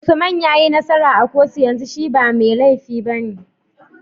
Usman yayi nasara a kotu yanzu shi ba me lefi bane